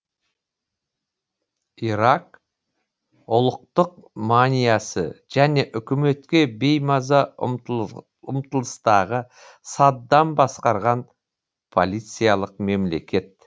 ирак ұлықтық маниясы және үкіметке беймаза ұмтылыстағы саддам басқарған полициялық мемлекет